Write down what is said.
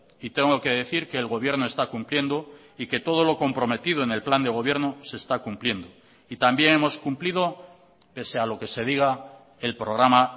y tengo que decir que el gobierno está cumpliendo y que todo lo comprometido en el plan de gobierno se está cumpliendo y también hemos cumplido pese a lo que se diga el programa